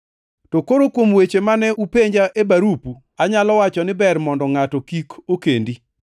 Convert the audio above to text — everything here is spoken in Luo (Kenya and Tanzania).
To koro kuom weche mane upenja e barupu, anyalo wacho ni ber mondo ngʼato kik okendi.